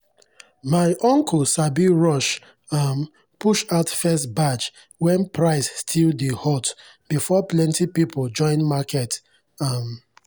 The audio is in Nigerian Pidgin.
my uncle sabi rush um push out first batch when price still dey hot before plenty people join market. um